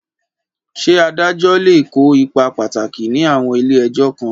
Ṣé adájọ́ lè kó ipa pàtàkì ní àwọn ilé ẹjọ́ kan?